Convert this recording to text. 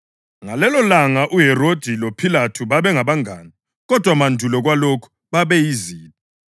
Ngalelolanga uHerodi loPhilathu babangabangane kodwa mandulo kwalokhu babeyizitha.